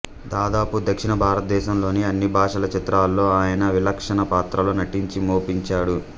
దాదాపు దక్షిణ భారతదేశంలోని అన్ని భాషల చిత్రాల్లో ఆయన విలక్షణ పాత్రల్లో నటించి మెప్పించాడు